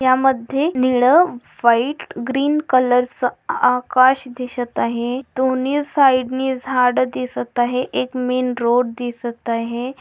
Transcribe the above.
या मधे नीळ व्हाइट ग्रीन कलर च आकाश दिसत आहे. दोनी साइड ने झाड दिसत आहे. एक मेन रोड दिसत आहै.